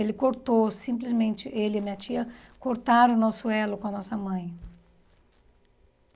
Ele cortou, simplesmente, ele e minha tia cortaram o nosso elo com a nossa mãe.